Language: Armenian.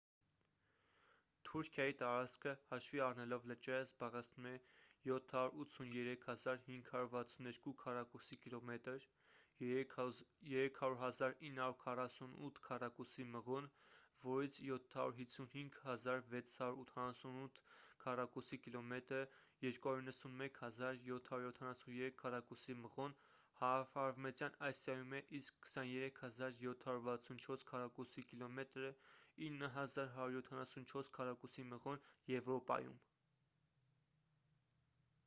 թուրքիայի տարածքը հաշվի առնելով լճերը զբաղեցնում է 783 562 քառակուսի կիլոմետր 300 948 քառակուսի մղոն որից 755 688 քառակուսի կիլոմետրը 291 773 քառակուսի մղոն հարավարևմտյան ասիայում է իսկ 23 764 քառակուսի կիլոմետրը 9 174 քառակուսի մղոն` եվրոպայում: